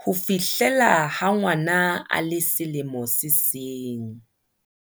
ho fihlela ha ngwana a le selemo se seng.